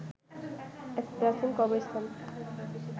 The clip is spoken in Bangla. এক প্রাচীন কবরস্থান